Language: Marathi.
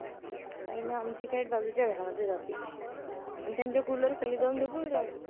नाही ना, आमची cat बाजूच्या घरामध्ये जाते. अन त्यांच्या cooler खाली जाऊन झोपून जाते,